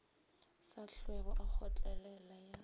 sa hlwego a kgotlelela ya